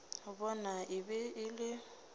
bona e be e le